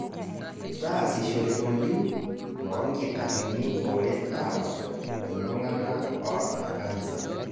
Taasishore oltim loonkitarrini oret aabak iltungana oota kansa.